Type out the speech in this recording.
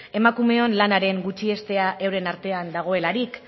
emakumeon lanaren gutxiestean euren artean dagoelarik